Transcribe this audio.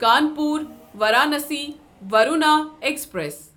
Kanpur Varanasi Varuna express